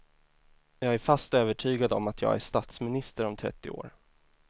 Jag är fast övertygad om att jag är statsminister om trettio år.